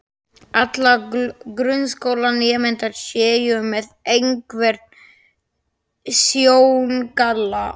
allra grunnskólanemenda séu með einhvern sjóngalla.